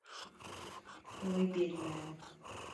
колыбельная